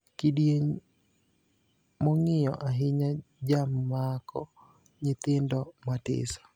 Kidieny mon`giyo ahinya jamako nyithindo matiso.